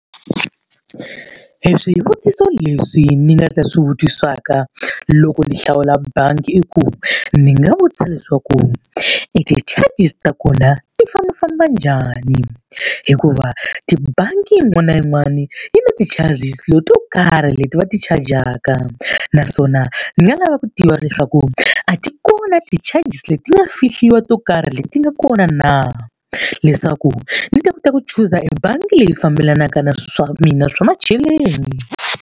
E swivutiso leswi ni nga ta swi vutisaka loko ni hlawula bangi i ku, ni nga vutisa leswaku e ti-charges ta kona ti fambafamba njhani? Hikuva tibangi yin'wani na yin'wani yi na ti-charges to karhi leti va ti-charge-aka. Naswona ndzi nga lava ku tiva leswaku a ti kona ti-charges leti nga fihliwa to karhi leti nga kona na? Leswaku ni ta kota ku chuza ebangi leyi fambelanaka na swilo swa mina swa macheleni.